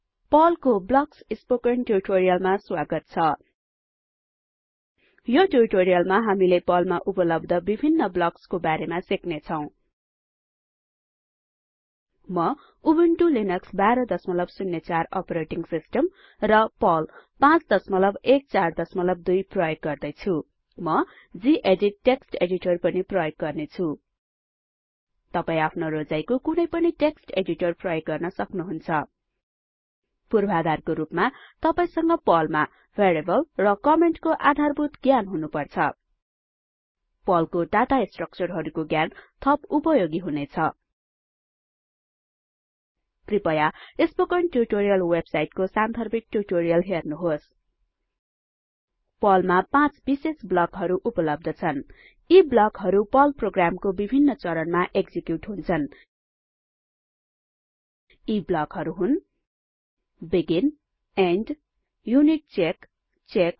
पर्लको blocks spoken ट्यूटोरियलमा स्वागत छ यो ट्यूटोरियलमा हामीले पर्लमा उपलब्ध विभिन्न ब्लक्स बारे सिक्नेछौ म उबुन्टु लिनक्स १२०४ अपरेटिंग सिस्टम र पर्ल ५१४२ प्रयोग गर्दैछु म गेदित टेक्स्ट एडिटर पनि प्रयोग गर्ने छु तपाई आफ्नो रोजाईको कुनै पनि टेक्स्ट एडिटर प्रयोग गर्न सक्नुहुन्छ पूर्वाधारको रुपमा तपाईसँग पर्लमा भेरीएबल र कमेन्ट को आधारभूत ज्ञान हुनुपर्छ पर्ल को डाटा स्ट्रक्चरहरुको ज्ञान थप उपयोगी हुनेछ कृपया स्पोकन ट्यूटोरियल वेबसाइटको सान्दर्भिक ट्यूटोरियल हेर्नुहोस् पर्ल मा ५ विशेष ब्लकहरू उपलब्ध छन् यी ब्लकहरू पर्ल प्रोग्रामको विभिन्न चरणमा एक्जिक्युट हुन्छन् यी ब्लकहरू हुन् बेगिन इन्ड युनिटचेक चेक